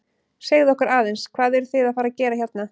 Segðu okkur aðeins, hvað eruð þið að fara að gera hérna?